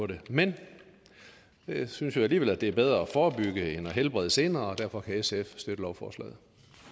det men jeg synes jo alligevel det er bedre at forebygge end at helbrede senere derfor kan sf støtte lovforslaget